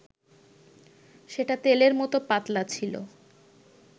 সেটা তেলের মত পাতলা ছিল